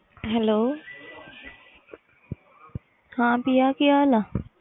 hello ਹਾਂ ਪ੍ਰਿਆ ਕਿ ਹਾਲ ਆ